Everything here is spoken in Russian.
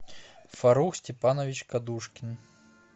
фарух степанович кадушкин